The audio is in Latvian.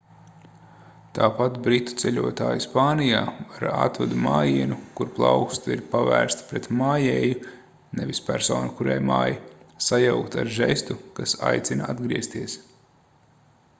tāpat britu ceļotāji spānijā var atvadu mājienu kur plauksta ir pavērsta pret mājēju nevis personu kurai māj sajaukt ar žestu kas aicina atgriezties